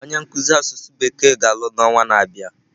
Onye nkuzi asụsụ bekee ga-alụ n'ọnwa na-abịa.